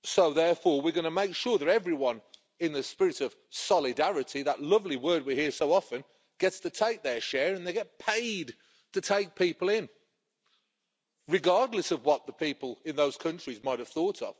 Therefore, we're going to make sure that everyone, in the spirit of solidarity that lovely word we hear so often gets to take their share and gets paid to take people in, regardless of what the people in those countries might have thought.